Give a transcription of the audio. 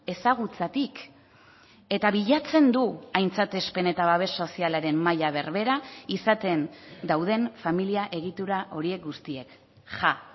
ezagutzatik eta bilatzen du aintzatespen eta babes sozialaren maila berbera izaten dauden familia egitura horiek guztiek ja